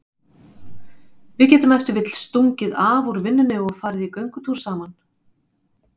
Við getum ef til vill stungið af úr vinnunni og farið í göngutúr saman.